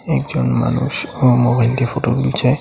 একজন মানুষও মোবাইল দিয়ে ফটো তুলছে।